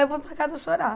Eu vou para casa chorar.